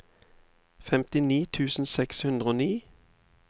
femtini tusen seks hundre og ni